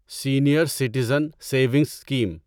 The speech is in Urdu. senior citizen savings scheme